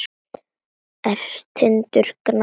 Tindur gnæfir yfir.